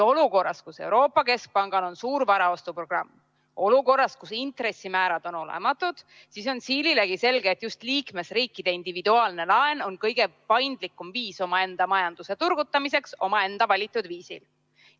Olukorras, kus Euroopa Keskpangal on suur varaostuprogramm, olukorras, kus intressimäärad on olematud, on siililegi selge, et just liikmesriikide individuaalne laen on kõige paindlikum viis omaenda majanduse turgutamiseks omaenda valitud viisil.